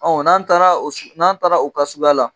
Ɔ n'an taara n'an taara o suguya la